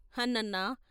' హన్నన్నా!